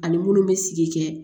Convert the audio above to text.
Ani munnu bɛ sigi kɛ